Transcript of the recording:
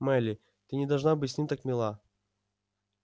мелли ты не должна быть с ним так мила